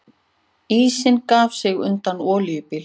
Ísinn gaf sig undan olíubíl